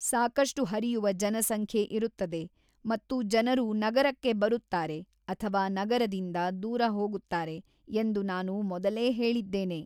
ಸಾಕಷ್ಟು ಹರಿಯುವ ಜನಸಂಖ್ಯೆ ಇರುತ್ತದೆ ಮತ್ತು ಜನರು ನಗರಕ್ಕೆ ಬರುತ್ತಾರೆ ಅಥವಾ ನಗರದಿಂದ ದೂರ ಹೋಗುತ್ತಾರೆ ಎಂದು ನಾನು ಮೊದಲೇ ಹೇಳಿದ್ದೇನೆ.